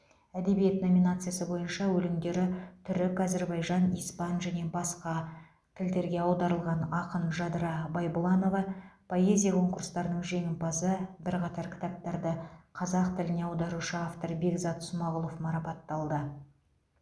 әдебиет номинациясы бойынша өлеңдері түрік әзірбайжан испан және басқа тілдерге аударылған ақын жадыра байбұланова поэзия конкурстарының жеңімпазы бірқатар кітаптарды қазақ тіліне аударушы автор бекзат смағұлов марапатталды